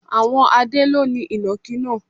Àwọn Adé ló ni Ìnàkí náà.